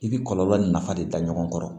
I bi kɔlɔlɔ nafa de ta ɲɔgɔn kɔrɔ